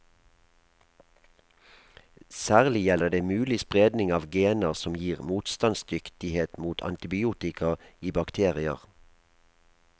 Særlig gjelder det mulig spredning av gener som gir motstandsdyktighet mot antibiotika i bakterier.